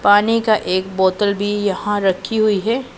पानी का एक बोतल भी यहां रखी हुईं हैं।